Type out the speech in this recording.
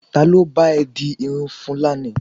talo ba e di Irun fulani